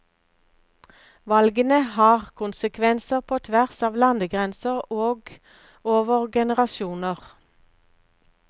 Valgene har konsekvenser på tvers av landegrenser og over generasjoner.